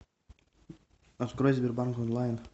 открой сбербанк онлайн